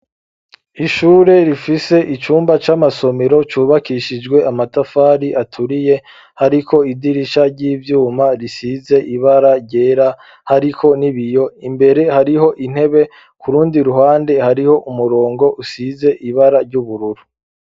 Ishure rifise icumba c'amasomiro cubakishijwe amatafari aturiye hariko idirisha ry'ivyuma risize ibara ryera hariko ni biyo imbere hariho intebe ku rundi ruhande hariho umurongo usize ibara ry'ubururu.